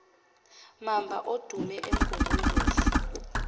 mamba odume umgungundlovu